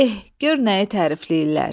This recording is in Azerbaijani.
Eh, gör nəyi tərifləyirlər?